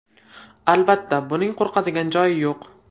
Albatta, buning qo‘rqadigan joyi yo‘q.